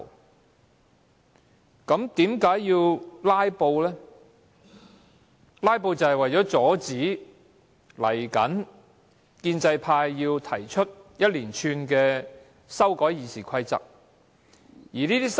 民主派議員"拉布"的原因，就是為了阻止建制派提出一系列《議事規則》的修訂。